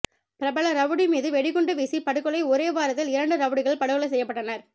பிரபல ரவுடி மீது வெடிகுண்டு வீசி படுகொலை ஒரே வாரத்தில் இரண்டு ரவுடிகள் படுகொலை செய்யப்பட்டனர்